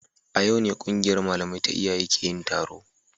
A yau ne kungiyar malamai ta iyaye ke yin taro